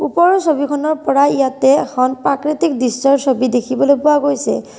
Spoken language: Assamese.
ওপৰৰ ছবিখনৰ পৰা ইয়াতে এখন প্ৰাকৃতিক দৃশ্যৰ ছবি দেখিবলৈ পোৱা গৈছে।